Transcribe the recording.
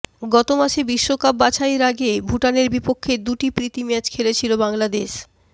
গত মাসে বিশ্বকাপ বাছাইয়ের আগে ভুটানের বিপক্ষে দুটি প্রীতি ম্যাচ খেলেছিল বাংলাদেশ